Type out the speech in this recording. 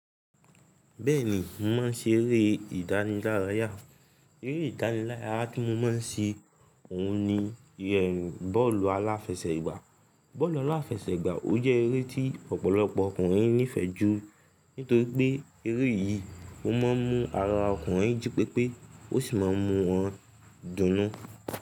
Bẹ́ẹ̀ni, mo máa ń ṣe eré ìdánilárayá. Eré ìdánilárayá tí mo máa ń ṣe òun ni bọ́ọ̀lù aláfẹsẹ̀gbá. Bọ́ọ̀lù aláfẹsẹ̀gbá, ó jẹ́ eré tí ọ̀pọ̀lọpọ̀ ọkùnrin nífẹ̀ẹ́ jù nítorí pé eré yìí ó máa ń mu ara ọkùnrin jí pépé ó sì máa ń mu wọ́n dùnú.